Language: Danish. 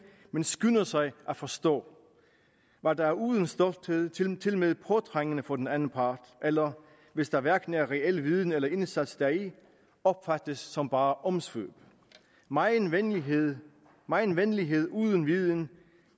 men skynder sig at forstå hvad der er uden stolthed tilmed tilmed påtrængende for den anden part eller hvis der hverken er reel viden eller indsats deri opfattes som bare omsvøb megen venlighed megen venlighed uden viden